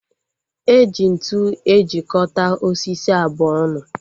Eji ntụ ejikota osisi abụọ ọnụ